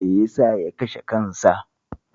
Me ya sa ya kashe kansa?